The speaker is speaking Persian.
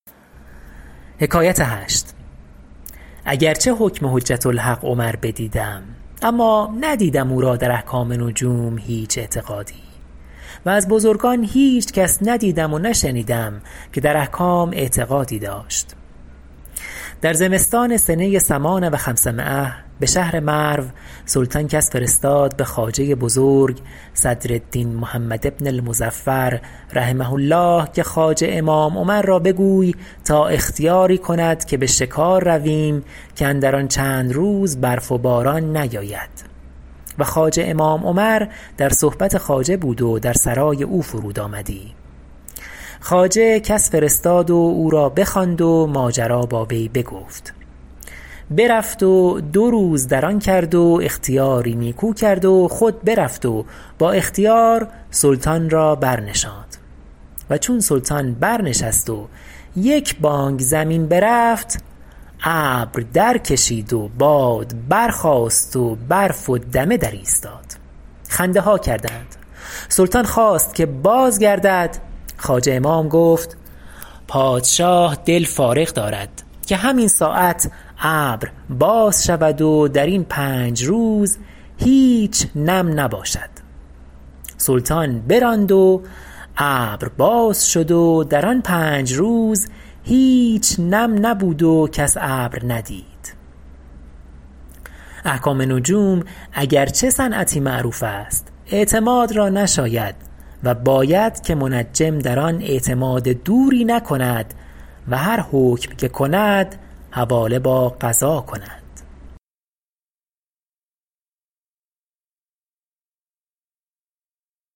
اگر چه حکم حجة الحق عمر بدیدم اما ندیدم او را در احکام نجوم هیچ اعتقادی و از بزرگان هیچ کس ندیدم و نشنیدم که در احکام اعتقادی داشت در زمستان سنه ثمان و خمسمایة به شهر مرو سلطان کس فرستاد به خواجه بزرگ صدر الدین محمد بن المظفر رحمه الله که خواجه امام عمر را بگوی تا اختیاری کند که به شکار رویم که اندر آن چند روز برف و باران نیاید و خواجه امام عمر در صحبت خواجه بود و در سرای او فرود آمدی خواجه کس فرستاد و او را بخواند و ماجرا با وی بگفت برفت و دو روز در آن کرد و اختیاری نیکو کرد و خود برفت و با اختیار سلطان را برنشاند و چون سلطان بر نشست و یک بانگ زمین برفت ابر در کشید و باد برخاست و برف و دمه درایستاد خنده ها کردند سلطان خواست که بازگردد خواجه امام گفت پادشاه دل فارغ دارد که همین ساعت ابر باز شود و در این پنج روز هیچ نم نباشد سلطان براند و ابر باز شد و در آن پنج روز هیچ نم نبود و کس ابر ندید احکام نجوم اگر چه صنعتی معروف است اعتماد را نشاید و باید که منجم در آن اعتماد دوری نکند و هر حکم که کند حواله با قضا کند